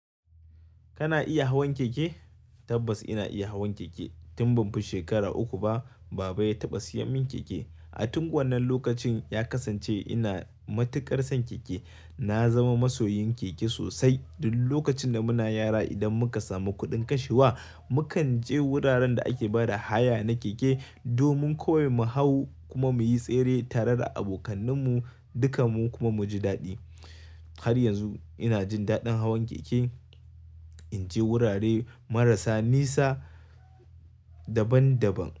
Kana iya hawan keke? Tabbas ina iya hawan keke. Tun banfi shekara uku ba baba ya taba siyo min keke. A tun wannan lokacin ya kasance ina matuƙar son keke. Na zama masoyin keke sosai. Duk lokacin da muna yara idan muka samu kuɗin kashewa, mukan je wuraren da ake bada haya na keke domin kawai mu hau kuma muyi tsere tare da abokananmu, duka mu kuma muji daɗi. Har yanzu ina jin daɗin hawan keke. Inje wurare marasa nisa daban-daban.